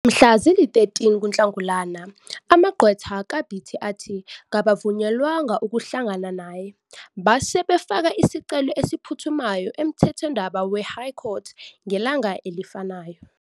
Mhla zili-13 kuNhlangulana amagqwetha kaBiti athi kabavunyelwanga ukuhlangana laye, base befaka isicelo esiphuthumayo emthethwandaba weHigh Court ngelanga elifanayo.